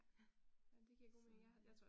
Ja, så ja